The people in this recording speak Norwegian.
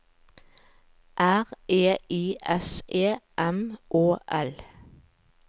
R E I S E M Å L